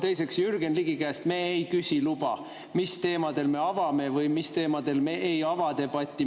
Teiseks, Jürgen Ligi käest me ei küsi luba, mis teemadel me avame või mis teemadel me ei ava debatti.